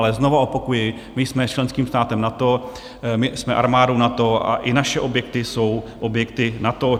Ale znovu opakuji, my jsme členským státem NATO, my jsme armádou NATO a i naše objekty jsou objekty NATO.